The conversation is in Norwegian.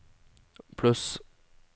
pluss